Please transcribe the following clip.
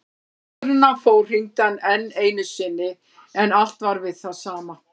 Áður en hann fór hringdi hann enn einu sinni en allt var við það sama.